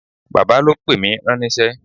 Bàbá ló pè mí ránníṣẹ́